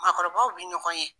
Maakɔrɔbaw bɛ ɲɔgɔn ye.